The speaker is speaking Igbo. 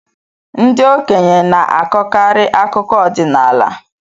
Ndị okenye na-akọkarị akụkọ ọdịnaala.